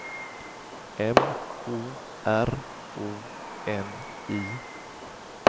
M O R O N I